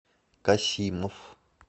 касимов